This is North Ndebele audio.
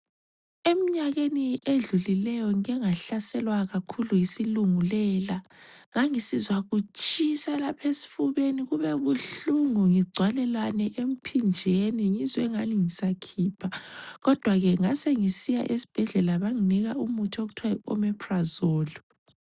Emnyakeni edlulileyo ngike ngahlaselwa kakhulu yisilungela ngangisizaa kutshisa lapha esifubeni kube buhlungu kugcwalelane emphinjeni ngizwe angani ngizakhipha, kodwa ke ngasengisiya esibhedlela bangipha umuthi okuthwa yi omaphrozoli.